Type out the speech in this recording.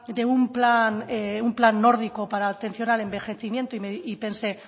de un plan nórdico para la atención al envejecimiento y pensé